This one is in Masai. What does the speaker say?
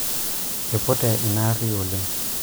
ipute ina aarri oleng'